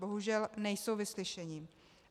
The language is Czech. Bohužel, nejsou vyslyšeni.